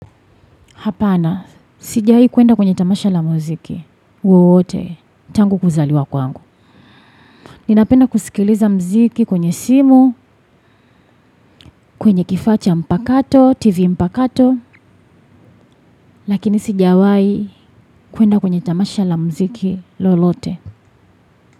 Hapana, sijawai kuenda kwenye tamasha la muziki, wowote, tangu kuzaliwa kwangu. Ninapenda kusikiliza muziki kwenye simu, kwenye kifaa cha mpakato, tv mpakato, lakini sijawai kuenda kwenye tamasha la muziki lolote.